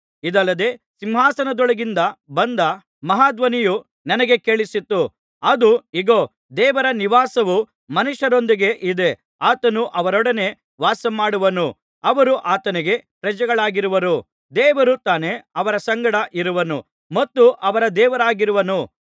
ಇದಲ್ಲದೆ ಸಿಂಹಾಸನದೊಳಗಿಂದ ಬಂದ ಮಹಾಧ್ವನಿಯು ನನಗೆ ಕೇಳಿಸಿತು ಅದು ಇಗೋ ದೇವರ ನಿವಾಸವು ಮನುಷ್ಯರೊಂದಿಗೆ ಇದೆ ಆತನು ಅವರೊಡನೆ ವಾಸಮಾಡುವನು ಅವರು ಆತನಿಗೆ ಪ್ರಜೆಗಳಾಗಿರುವರು ದೇವರು ತಾನೇ ಅವರ ಸಂಗಡ ಇರುವನು ಮತ್ತು ಅವರ ದೇವರಾಗಿರುವನು